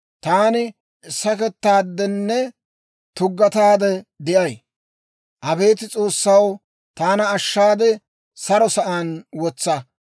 Taani sakettaadenne tuggataade de'ay. Abeet S'oossaw, taana ashshaade, saro sa'aan wotsa.